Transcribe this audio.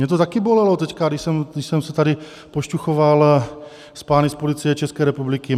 Mě to také bolelo teď, když jsem se tady pošťuchoval s pány z Policie České republiky.